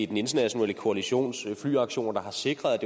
den internationale koalitions flyaktioner der har sikret at